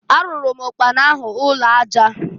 Arụụrụ m ụkpana ahụ ụnọ aja.